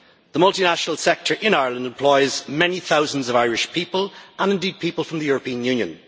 The multinational sector in Ireland employs many thousands of Irish people, and indeed people from the European Union.